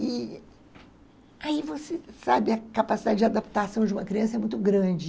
E aí, você sabe, a capacidade de adaptação de uma criança é muito grande.